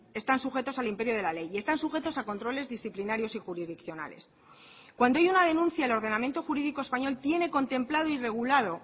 están sujetos al imperio de la ley y están sujetos a controles disciplinarios y jurisdiccionales cuando hay una denuncia el ordenamiento jurídico español tiene contemplado y regulado